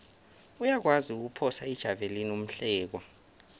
uyakwazi ukuphosa ijavelina umhlekwa